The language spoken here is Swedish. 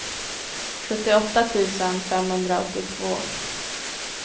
sjuttioåtta tusen femhundraåttiotvå